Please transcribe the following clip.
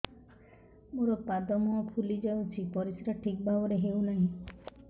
ମୋର ପାଦ ମୁହଁ ଫୁଲି ଯାଉଛି ପରିସ୍ରା ଠିକ୍ ଭାବରେ ହେଉନାହିଁ